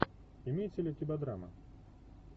имеется ли у тебя драма